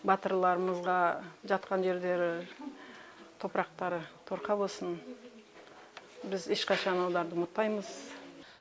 батырларымызға жатқан жерлері топырақтары торқа болсын біз ешқашан оларды ұмытпаймыз